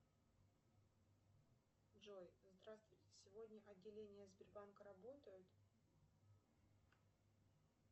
джой здравствуйте сегодня отделения сбербанка работают